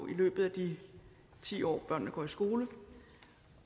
i løbet af de ti år børnene går i skole